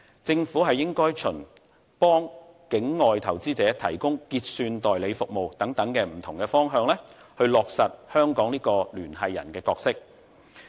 政府應該循為境外投資者提供結算代理服務等不同的方向，去落實香港的聯繫人角色。